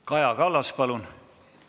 Kaja Kallas, palun!